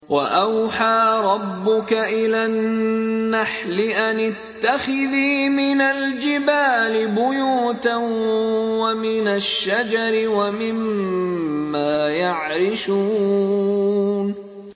وَأَوْحَىٰ رَبُّكَ إِلَى النَّحْلِ أَنِ اتَّخِذِي مِنَ الْجِبَالِ بُيُوتًا وَمِنَ الشَّجَرِ وَمِمَّا يَعْرِشُونَ